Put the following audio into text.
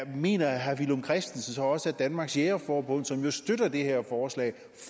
mener herre villum christensen så også at danmarks jægerforbund som jo støtter det her forslag